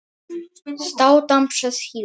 Hann stóð þarna nokkra stund.